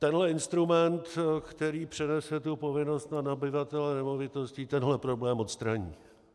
Tenhle instrument, který přenese tu povinnost na nabyvatele nemovitostí, tenhle problém odstraní.